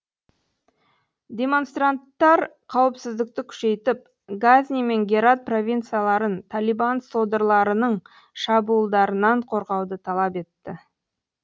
демонстранттар қауіпсіздікті күшейтіп газни мен герат провинцияларын талибан содырларының шабуылдарынан қорғауды талап етті